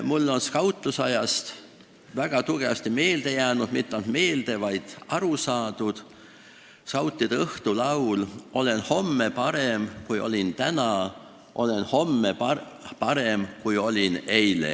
Mulle on skautluse ajast väga tugevasti meelde jäänud – ja need ei ole mitte ainult meelde jäänud, vaid nendest on ka aru saadud – skautide õhtulaulu sõnad: "Olen homme parem, kui olin täna, olen homme parem, kui olin eile.